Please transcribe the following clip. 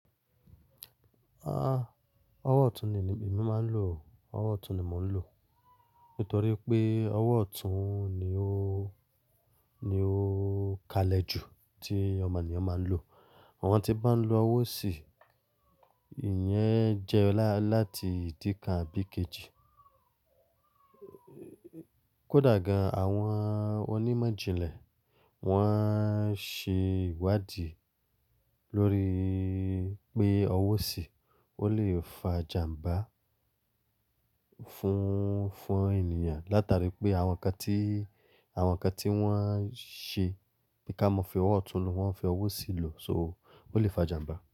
Ah, owó ọ̀tún ni èmi máa ń lò. Owó ọ̀tún ni mò lò, nítorí pé owó ọ̀tún ni ó, ni ó kalẹ̀ jù tí ọmọ ènìyàn máa ń lò. Àwọn tí bá lọ ọwó òsì, ìyẹn jẹ láti ìdí kan abì kejì. Kódà gan, àwọn onímọ̀ ìjìnlẹ̀ wọ́n ṣe ìwádì lórí pé ọwó òsì ó lè fa jàmbá fún, fún ènìyàn látara pé àwọn nǹkan tí, àwọn nǹkan tí wọ́n ṣe bí ká mọ fẹ owó ọ̀tún lò, wọ́n fi ọwó òsì lò, so ó lè fa jàmbá.